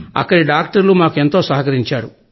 అక్కడి డాక్టర్లు మాకు ఎంతో సహకరించారు